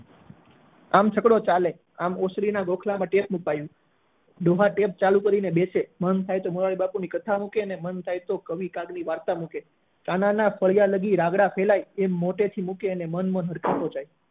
આમ છકડો ચાલે આમ ઓસની ના ગોખલામાં આવ્યું ડોહા tap ચાલુ કરી ને બેસે મન થાય તો મોરારી બાપુ ની કાઢ મુકે કે મન થાય તો કવિ કાર ની વાર્તા મૂકે પાનાના ફેરવાય ત્યાં સુધી રાન્ગળા ના પડે ત્યાં સુધી એમ મોટે થી મૂકે અને મન હલકો થઇ જાય